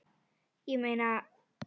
Ég meina.